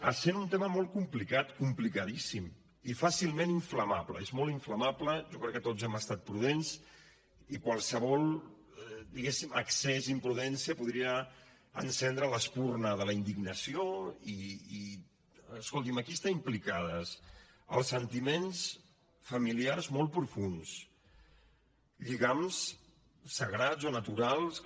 essent un tema molt complicat complicadíssim i fàcilment inflamable és molt inflamable jo crec que tots hem estat prudents i qualsevol diguem ne excés imprudència podria encendre l’espurna de la indignació i escolti’m aquí estan implicats els sentiments familiars molt profunds lligams sagrats o naturals com